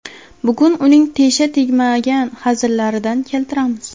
Bugun uning tesha tegmagan hazillaridan keltiramiz.